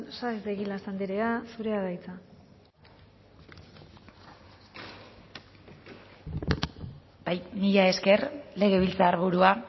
saez de egilaz andrea zurea da hitza bai mila esker legebiltzarburua